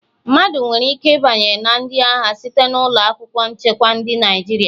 Mmadụ nwere ike ịbanye na ndị agha site na ụlọ akwụkwọ nchekwa Ndị Naịjirịa